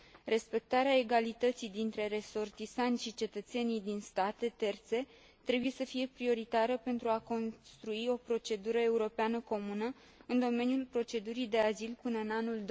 Respectarea egalității dintre resortisanți și cetățenii din state terțe trebuie să fie prioritară pentru a construi o procedură europeană comună în domeniul procedurii de azil până în anul